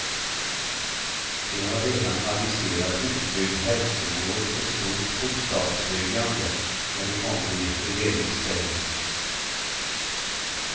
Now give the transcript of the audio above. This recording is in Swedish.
De har redan aviserat utbyggd hälsovård och stort bostadsbyggande när de kommer i regeringsställning.